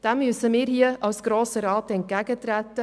Dem müssen wir als Grosser Rat entgegentreten.